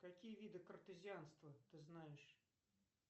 какие виды картезианства ты знаешь